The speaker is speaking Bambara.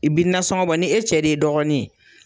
I bi nansɔngo bɔ ni e cɛ de ye dɔgɔnin ye.